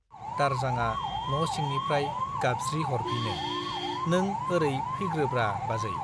दारजांआ न' सिंनिफ्राय गाबज्रिह'रफिनो , नों ओरै फैग्रोब्रा बाजै ।